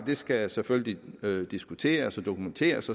skal selvfølgelig diskuteres og dokumenteres